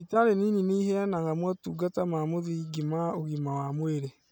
Thibitari nini nĩiheanaga motungata ma mũthingi ma ũgima wa mwĩrĩ